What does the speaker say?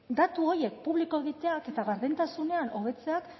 datu horiek publiko egiteak eta gardentasunean hobetzeak